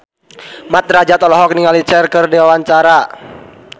Mat Drajat olohok ningali Cher keur diwawancara